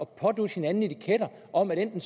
pådutte hinanden etiketter om at enten